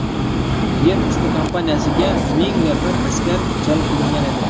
Yer usti kampaniyasiga ming nafar askar jalb qilingan edi.